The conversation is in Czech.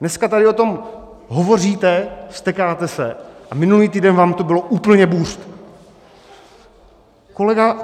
Dneska tady o tom hovoříte, vztekáte se, a minulý týden vám to bylo úplně buřt.